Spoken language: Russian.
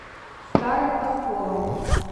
старым осколом